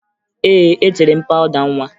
Ee, etere m pawụda nwa